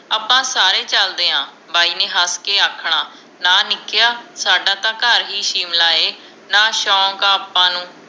ਆਪਾਂ ਸਾਰੇ ਚਲਦੇ ਆ ਬਾਈ ਨੇ ਹੱਸਕੇ ਆਖਣਾ ਨਾ ਨਿਕਿਆ ਸਾਡਾ ਤਾਂ ਘਰ ਹੀ ਸ਼ਿਮਲਾ ਹੈ ਨਾ ਸ਼ੋਂਕ ਹੈ ਆਪਾਂ ਨੂੰ